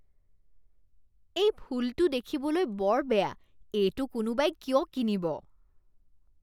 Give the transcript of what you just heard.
এই ফুলটো দেখিবলৈ বৰ বেয়া। এইটো কোনোবাই কিয় কিনিব?